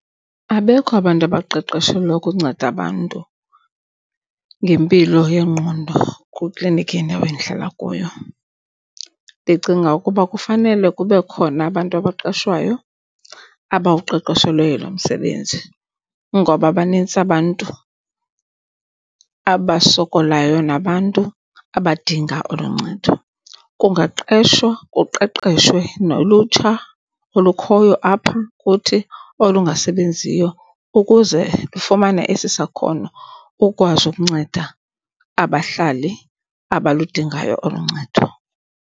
Abekho abantu abaqeqeshelwa ukunceda abantu ngempilo yengqondo kwikliniki yendawo endihlala kuyo. Ndicinga ukuba kufanele kube khona abantu abaqeshwayo abawuqeqeshelweyo lo msebenzi ngoba banintsi abantu abasokolayo nabantu abadinga olu ncedo. Kungaqeshwa kuqeqeshwe nolutsha olukhoyo apha kuthi olungasebenziyo ukuze lufumane esi sakhono, ukwazi ukunceda abahlali abaludingayo olu ncedo.